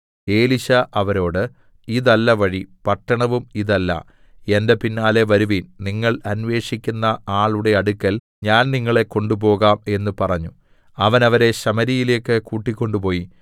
എലീശാ അവരോട് ഇതല്ല വഴി പട്ടണവും ഇതല്ല എന്റെ പിന്നാലെ വരുവിൻ നിങ്ങൾ അന്വേഷിക്കുന്ന ആളുടെ അടുക്കൽ ഞാൻ നിങ്ങളെ കൊണ്ടുപോകാം എന്ന് പറഞ്ഞു അവൻ അവരെ ശമര്യയിലേക്ക് കൂട്ടിക്കൊണ്ടുപോയി